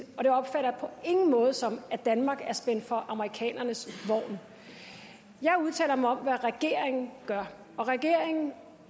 og det opfatter jeg på ingen måde som at danmark er spændt for amerikanernes vogn jeg udtaler mig om hvad regeringen gør og regeringen